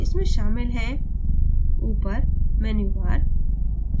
इसमें शामिल हैंtop पर menu bar